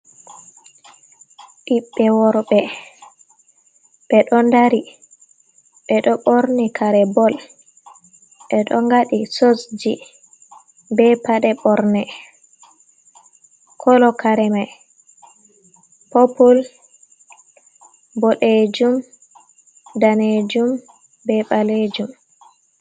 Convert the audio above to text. Ɓiɓbe worɓe ɓeɗo dari, ɓeɗo ɓorni kare bol, ɓeɗo ngaɗi soksji be paɗe ɓorne. Kolo kare mai popul, boɗejum, danejum be ɓalejum.